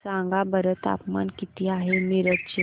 सांगा बरं तापमान किती आहे मिरज चे